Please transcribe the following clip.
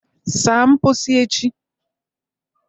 saa mposi echi